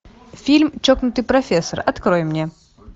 фильм чокнутый профессор открой мне